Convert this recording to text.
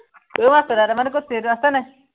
ঐ মা চাধা টেমাটো কত আছে, এইটো আছে নাই?